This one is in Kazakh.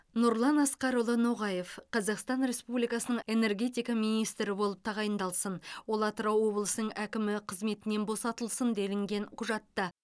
нұрлан асқарұлы ноғаев қазақстан республикасының энергетика министрі болып тағайындалсын ол атырау облысының әкімі қызметінен босатылсын делінген құжатта